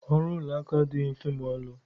Ọrụ ụlọakụ adịghị mfe maọlị